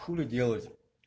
хули делать